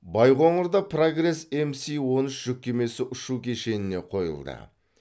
байқоңырда прогресс мс он үш жүк кемесі ұшу кешеніне қойылды